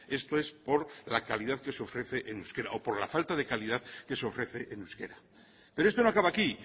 esto es por la calidad que se ofrece en euskera o por la falta de calidad que se ofrece en euskera pero esto no acaba aquí